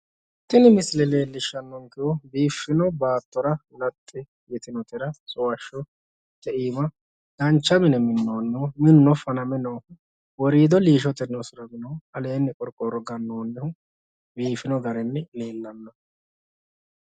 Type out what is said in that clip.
tini misile leellishshannonkehu biiffino baatora laxxi yitinotera suwashshote iima dancha mine minoonnihu minuno faname noohu woriido liishotenni usuraminnohu aleenni qorqorro ganoonnihu biifino garinni leellanno.